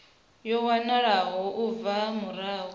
yo wanwaho u bva murahu